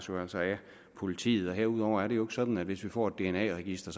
jo altså af politiet herudover er det jo ikke sådan at hvis vi får et dna register